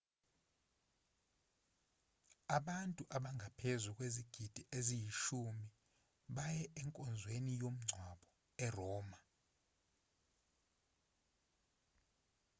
abantu abangaphezu kwezigidi eziyishumi baye enkonzweni yomngcwabo eroma